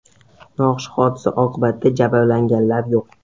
Noxush hodisa oqibatida jabrlanganlar yo‘q.